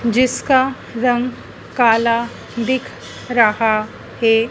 जिसका रंग काला दिख रहा है।